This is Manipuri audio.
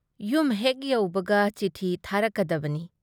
ꯌꯨꯝ ꯍꯦꯛ ꯌꯧꯕꯒ ꯆꯤꯊꯤ ꯊꯥꯔꯛꯀꯗꯕꯅꯤ꯫